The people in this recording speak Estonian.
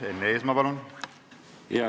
Enn Eesmaa, palun!